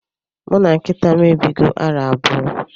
Muna nkitam ebigo arọ abụọ.